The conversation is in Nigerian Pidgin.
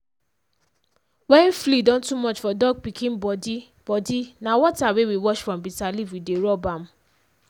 wen flea don too much for dog pikin body body na water wey we wash from bitter leaf we dey rub am.